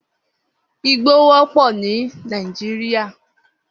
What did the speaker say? Igbó wòpò ni Nàijiriá